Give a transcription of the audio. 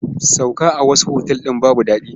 Sauka a wasu otal ɗin babu daɗi.